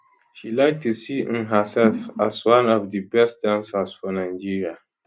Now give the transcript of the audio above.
she like to see um herself as one of di best dancers for nigeria